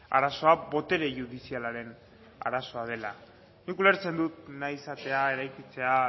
arazoa botere judizialaren arazoa dela nik ulertzen dut nahi izatea eraikitzea